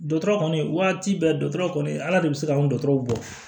Dɔgɔtɔrɔ kɔni waati bɛ dɔgɔtɔrɔ kɔni ala de bɛ se k'an dɔgɔtɔrɔw bɔ